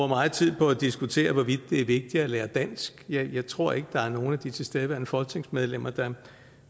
meget tid på at diskutere hvorvidt det er vigtigt at lære dansk jeg tror ikke der er nogen af de tilstedeværende folketingsmedlemmer der